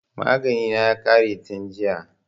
Magani na ya ƙare tin jiya